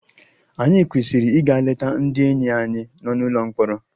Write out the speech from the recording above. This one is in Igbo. Ànyị kwesịrị ịga leta ndị enyi anyị nọ n'ụlọ mkpọrọ?